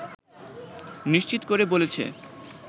নিশ্চিত করে বলেছে